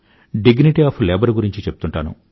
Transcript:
dignity of labour ను గురించి చెప్తుంటాను